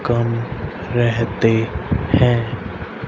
कम रहते हैं।